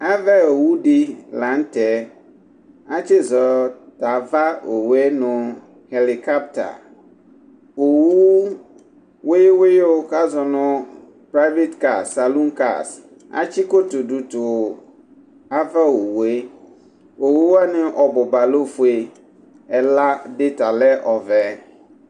Ava owu di la nu tɛ ati zɔ tu ava owu nu elikɔtɛ owu wuyu wuyu ku azɔ nu pivati ka saluti ka atsi kotu du tu nu ava wu owuwani ɔbuba lɛ ofue ɛla di ta lɛ ɔvɛ